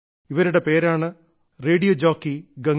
ഇവരുടെ പേരാണ് R J Ganga